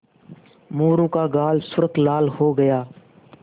मोरू का गाल सुर्ख लाल हो गया